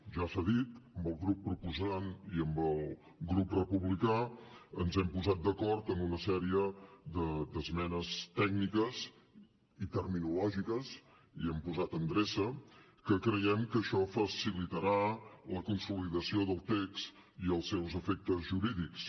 ja s’ha dit amb el grup proposant i amb el grup republicà ens hem posat d’acord en una sèrie d’esmenes tècniques i terminològiques hi hem posat endreça que creiem que això facilitarà la consolidació del text i els seus efectes jurídics